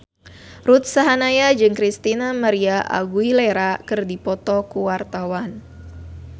Ruth Sahanaya jeung Christina María Aguilera keur dipoto ku wartawan